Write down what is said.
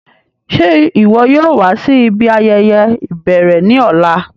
Ṣe iwọ yóò wa si ibi ayẹyẹ ibẹrẹ ni ọla?